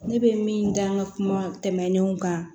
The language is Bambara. Ne bɛ min da n ka kuma tɛmɛnenw kan